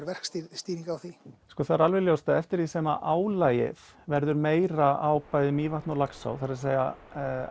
verkstjórn á því það er alveg ljóst að eftir því sem álagið verður meira á bæði Mývatn og Laxá það er